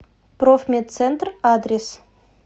профмедцентр адрес